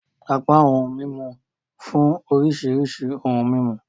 Apá awọn ohun mímú nfun oríṣiríṣi ohùn mímú.